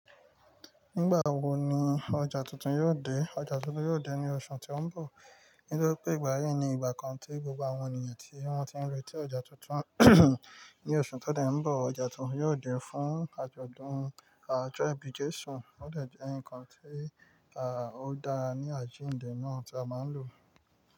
Nígbà wo ni ọjà tuntun yóò dé? Ọjà tuntun yóò dé ní oṣù tí ó ń bọ̀. Nítorí pé ìgbà yí ni ìgbà kan tí gbogbo àwọn ènìyàn tí wọ́n ti ń retí ọjà tuntun ní oṣù tó dẹ̀ ń bọ̀. Ọjà tuntun yóò dé fún àjọ̀dún àjọ́ ẹbí Jésù. Ó dẹ̀ jẹ́ ǹkan tí àá ó dára ní àjíǹde náà tí a máa ń lò.